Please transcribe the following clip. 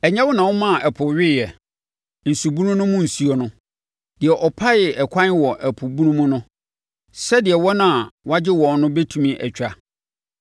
Ɛnyɛ wo na womaa ɛpo weeɛ, nsubunu mu nsuo no, deɛ ɔpaee ɛkwan wɔ ɛpo bunu mu no sɛdeɛ wɔn a wɔagye wɔn no bɛtumi atwa?